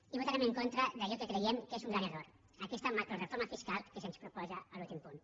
i votarem en contra d’allò que creiem que és un gran error aquesta macroreforma fiscal que se’ns proposa a l’últim punt